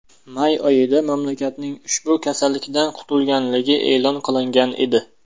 May oyida mamlakatning ushbu kasallikdan qutulganligi e’lon qilingan edi.